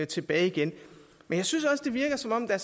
tilbage igen men jeg synes også det virker som om der